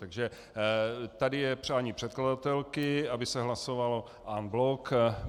Takže tady je přání předkladatelky, aby se hlasovalo en bloc.